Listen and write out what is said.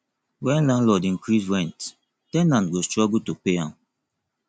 when landlord increase rent ten ant go struggle to pay am